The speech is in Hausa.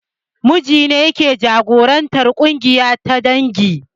Namiji ne yake jagorantar ƙungiya ta dangi